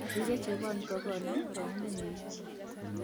Rire chebon kokonam boyodenyin